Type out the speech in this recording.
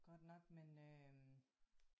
Godt nok men øh